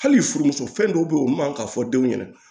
Hali furumuso fɛn dɔw be yen olu man ka fɔ denw ɲɛna